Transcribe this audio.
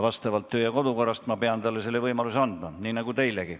Kodu- ja töökorra alusel ma pean talle selle võimaluse andma, nii nagu teilegi.